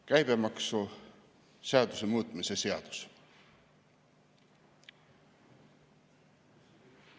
Käibemaksuseaduse muutmise seadus.